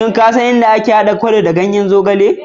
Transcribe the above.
Shin ko kisan yadda ake hada salati ta amfani da ganyen zogale?